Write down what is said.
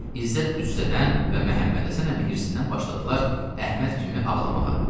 İzzət qüssədən və Məhəmmədhəsən əmi hirsindən başladılar Əhməd kimi ağlamağa.